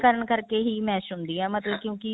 ਕਰਨ ਕਰਕੇ ਹੀ mash ਹੁੰਦੀ ਹੈ ਮਤਲਬ ਕਿਉਂਕਿ